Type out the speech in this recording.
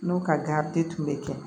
N'o ka garidi tun bɛ kɛ